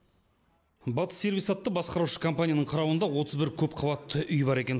батыс сервис атты басқарушы компанияның қарауында отыз бір көпқабатты үй бар екен